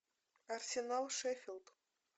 арсенал шеффилд